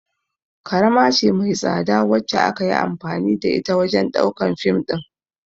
kamara ce mai tsada wacce akayi anfani da shi wajan ɗaukan fim ɗin